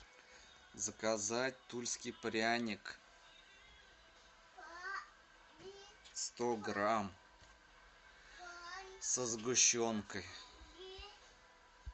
заказать тульский пряник сто грамм со сгущенкой